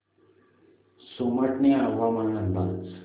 सोमाटणे हवामान अंदाज